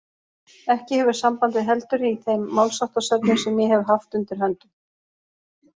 Ekki hefur sambandið heldur í þeim málsháttasöfnum sem ég hef haft undir höndum.